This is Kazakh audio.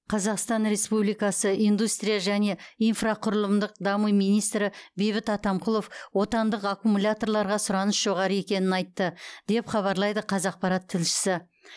қазақстан республикасы индустрия және инфрақұрылымдық даму министрі бейбіт атамқұлов отандық аккумуляторларға сұраныс жоғары екенін айтты деп хабарлайды қазақпарат тілшісі